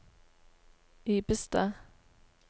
Ibestad